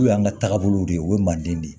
N'u y'an ka taabolow de o ye manden de ye